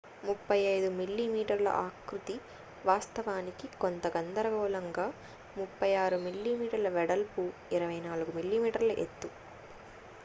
35mm ఆకృతి వాస్తవానికి కొంత గందరగోళంగా 36mm వెడల్పు 24mm ఎత్తు